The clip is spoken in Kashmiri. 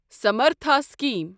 سَمرتھا سِکیٖم